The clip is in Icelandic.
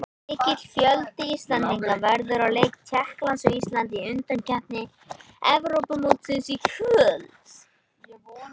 Mikill fjöldi Íslendinga verður á leik Tékklands og Íslands í undankeppni Evrópumótsins í kvöld.